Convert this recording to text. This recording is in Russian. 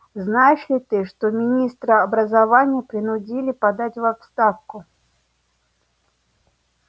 знаешь ли ты что министра образования принудили подать в отставку